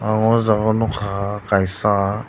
ang o jaga o nukha kaisa.